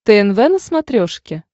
тнв на смотрешке